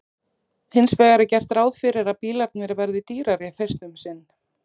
Hins vegar er gert ráð fyrir að bílarnir verði dýrari fyrst um sinn.